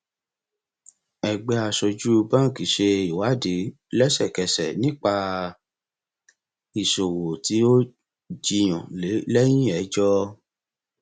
ẹgbẹ aṣojú báńkì ṣe ìwádìí lẹsẹkẹsẹ nípa ìṣòwò tí a jiyàn lé lẹyìn ẹjọ